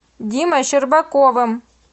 димой щербаковым